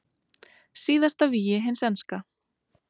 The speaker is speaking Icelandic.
Síðasta vígi hins enska